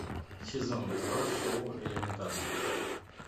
сезон два шоу элементарно